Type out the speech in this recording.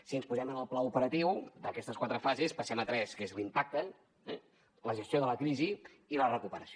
si ens posem en el pla operatiu d’aquestes quatre fases passem a tres que són l’impacte la gestió de la crisi i la recuperació